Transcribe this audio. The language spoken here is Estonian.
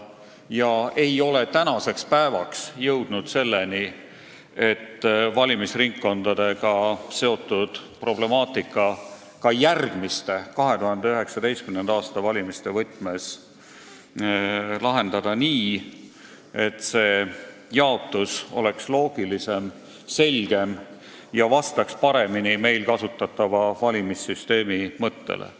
Me ei ole tänaseks päevaks jõudnud selleni, et oleksime suutnud valimisringkondadega seotud problemaatika järgmiste, 2019. aasta valimiste võtmes lahendada nii, et see jaotus oleks loogilisem, selgem ja vastaks paremini meil kasutatava valimissüsteemi mõttele.